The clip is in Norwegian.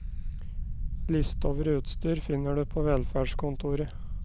Liste over utstyr finner du på velferdskontoret.